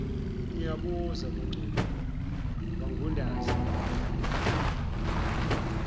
ngiyabuza mangcobo wangunaza